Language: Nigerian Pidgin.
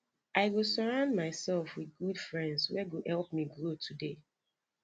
i go surround myself with good friends wey go help me grow today